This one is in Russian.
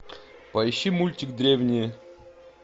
поищи мультик древние